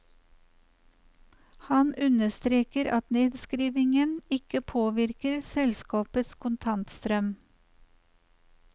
Han understreker at nedskrivningen ikke påvirker selskapets kontantstrøm.